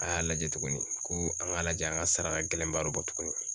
A y'a lajɛ tuguni ko an k'a lajɛ an ka sara ka gɛlɛn baro bɔ tuguni.